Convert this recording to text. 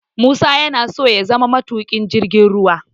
Musa yana so ya zama matuƙin jirgin ruwa